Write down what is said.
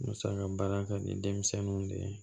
Musaka baara kɛ ni denmisɛnninw de ye